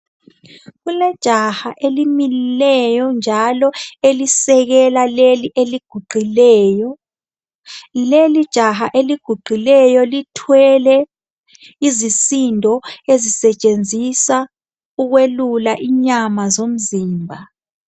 Kulejaha elimileyo njalo elisekela leli eliguqileyo. Leli jaha eliguqileyo lithwele izisindo. ezisetshenziswa ukwelula inyama zomzimba.